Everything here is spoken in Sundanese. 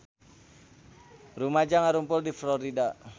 Rumaja ngarumpul di Florida